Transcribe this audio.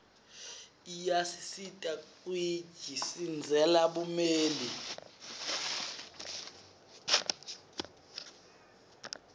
iyaasisita kuiji sindzele bumeli